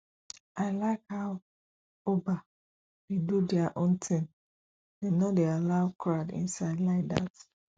i like how uba dey do their own thing dem no dey allow crowd inside like that